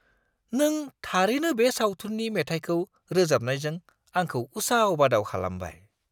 नों थारैनो बे सावथुननि मेथाइखौ रोजाबनायजों आंखौ उसाव-बादाव खालामबाय!